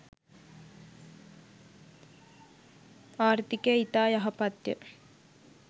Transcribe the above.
ආර්ථිකය ඉතා යහපත්ය.